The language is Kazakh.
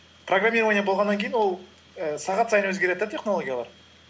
программирование болғаннан кейін ол і сағат сайын өзгереді де технологиялар